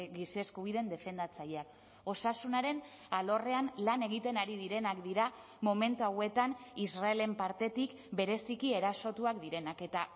giza eskubideen defendatzaileak osasunaren alorrean lan egiten ari direnak dira momentu hauetan israelen partetik bereziki erasotuak direnak eta